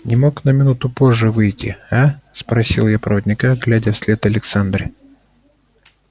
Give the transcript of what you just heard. не мог на минуту позже выйти а спросил я проводника глядя вслед александре